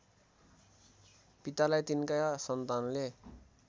पितालाई तिनका सन्तानले